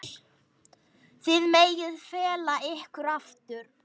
Þið megið fela ykkur aftur.